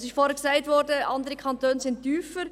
– Vorhin wurde gesagt, andere Kantone lägen tiefer.